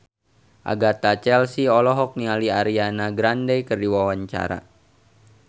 Agatha Chelsea olohok ningali Ariana Grande keur diwawancara